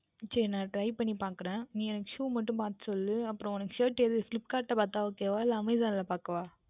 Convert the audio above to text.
சரி நான் Try பண்ணி பார்க்கின்றேன் நீ எனக்கு Shoe மற்றும் பார்த்து சொல் அப்புறம் உனக்கு எது Flipkart யில் பார்த்தால் Ok வா இல்லை Amazon யில் பார்க்கவேண்டுமா